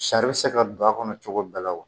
Sari bɛ se ka don a kɔnɔ cogo bɛɛ la wa